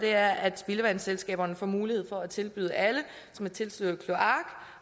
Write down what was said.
er at spildevandsselskaberne får mulighed for at tilbyde alle som er tilsluttet kloak